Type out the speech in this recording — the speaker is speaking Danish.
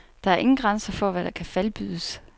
Der er ingen grænser for, hvad der kan falbydes.